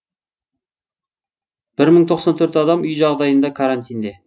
бір мың тоқсан төрт адам үй жағдайында карантинде